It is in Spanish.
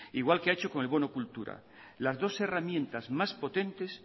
igual que ha hecho con el bono cultura las dos herramientas más potentes